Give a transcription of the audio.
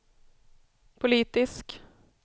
politisk